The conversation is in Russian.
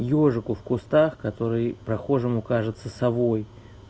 ёжику в кустах который прохожему кажется совой